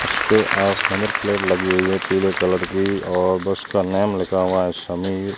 इसके आस number plate लगी हुई है पीले कलर की और बस का नेम लिखा हुआ है समीर--